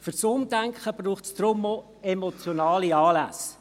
Für das Umdenken braucht es deshalb auch emotionale Anlässe.